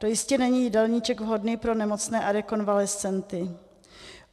To jistě není jídelníček vhodný pro nemocné a rekonvalescenty.